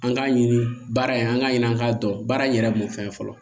An k'a ɲini baara in an k'a ɲini an k'a dɔn baara in yɛrɛ b'o fɛn fɔlɔ